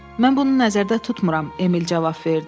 Mən bunu nəzərdə tutmuram, Emil cavab verdi.